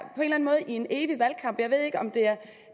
i en evig valgkamp jeg ved ikke om det er